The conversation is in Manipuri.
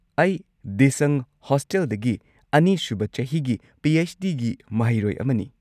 ꯑꯩ ꯗꯤꯁꯪ ꯍꯣꯁꯇꯦꯜꯗꯒꯤ ꯲ꯁꯨꯕ ꯆꯍꯤꯒꯤ ꯄꯤ. ꯑꯩꯆ. ꯗꯤ. ꯒꯤ ꯃꯍꯩꯔꯣꯏ ꯑꯃꯅꯤ꯫